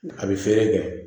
A bɛ feere kɛ